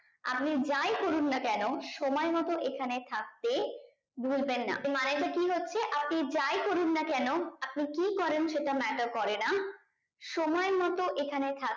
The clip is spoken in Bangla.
আপনি যাই করুননা কেন সময় মতো এইখানে থাকতে ভুলবেন না তো মানে টা কি হচ্ছে আপনি যাই করুননা কেন আপনি কি করেন সেটা matter করে না সময় মতো এখানে থাক